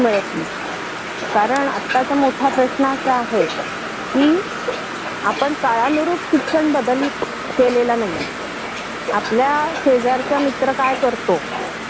हो ना तोच तो प्रश्न आहे अगं त्याला नोकरी तरी आहे पण आपलय इथे अस काही तरुण मुलं असतात कि जी